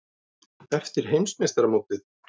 Eftir Heimsmeistaramótið?